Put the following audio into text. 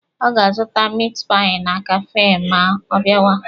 Ọ ga-azụta mit pai na kafee ma ọ bịawa.